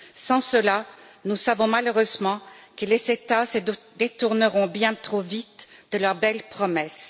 Sans cela, nous savons malheureusement que les États se détourneront bien trop vite de leurs belles promesses.